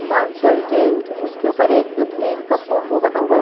Consultant उसके ऊपर एक प्लेन का फोटो बना हुआ है।